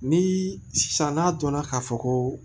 Ni sisan n'a dɔnna k'a fɔ ko